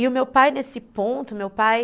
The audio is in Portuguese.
E o meu pai, nesse ponto, meu pai...